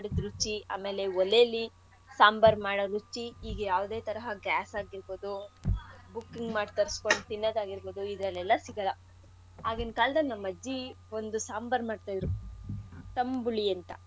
ರುಚಿ ಆಮೇಲೆ ಓಲೆಲಿ ಸಾಂಬಾರ್ ಮಾಡೋ ರುಚಿ ಹೀಗೆ ಯಾವ್ದೆ ತರಹ gas ಆಗಿರ್ಬೋದು booking ಮಾಡ್ ತರಸ್ಕೊಂಡು ತಿನ್ನದ್ ಆಗಿರ್ಬೋದು ಇದ್ರಲೆಲ್ಲಾ ಸಿಗಲ್ಲ ಆಗಿನ್ ಕಾಲದಲ್ಲಿ ನಮ್ ಅಜ್ಜಿ ಒಂದು ಸಾಂಬಾರ್ ಮಾಡ್ತಾ ಇದ್ರು ತಂಬುಳಿ ಅಂತ.